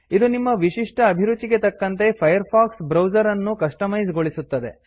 ಇದು ನಿಮ್ಮ ವಿಶಿಷ್ಟ ಅಭಿರುಚಿಗೆ ತಕ್ಕಂತೆ ಫೈರ್ಫಾಕ್ಸ್ ಬ್ರೌಸರ್ ಅನ್ನು ಕಸ್ಟಮೈಸ್ ಗೊಳಿಸುತ್ತದೆ